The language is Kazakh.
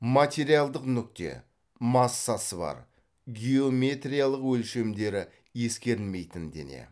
материалдық нүкте массасы бар геометриялық өлшемдері ескерілмейтін дене